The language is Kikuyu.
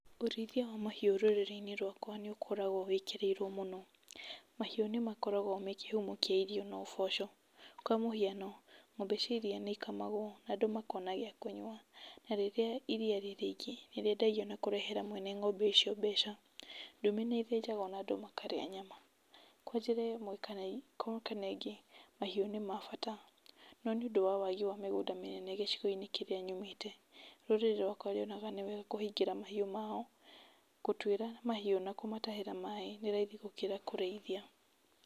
Ũrĩithia wa mahiũ rũrĩrĩ-inĩ rwakwa nĩ ũkoragwo wĩkĩrĩirwo mũno, mahiũ nĩ makoragwo me kĩhumo kĩa irio na ũboco, kwa mũhiano ngombe cia iria nĩ ikamagwo na andũ makona gĩa kũnyua, na rĩrĩa iria rĩ rĩingĩ nĩ rĩendagio na kũrehera mwene ngombe icio mbeca, ndũme nĩ ĩthĩnjagwo na andũ makarĩa nyama. Kwa njĩra ĩmwe kana ĩngĩ mahiũ nĩma bata no nĩ ũndũ wa wagĩ wa mĩgũnda mĩnene gĩcigo-inĩ kĩrĩa nyumĩte, rũrĩrĩ rwaka rũonaga nĩ wega kũhingĩra mahiũ mao, gũtuĩra mahiũ na gũmatahĩra maaĩ nĩ raithi gũkĩra kũrĩithia.